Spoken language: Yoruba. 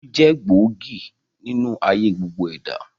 Ẹbí jẹ́ gbòógì nínú ayé gbogbo ẹ̀dá